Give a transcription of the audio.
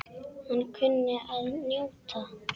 Hann kunni að njóta.